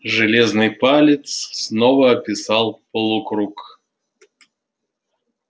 железный палец снова описал полукруг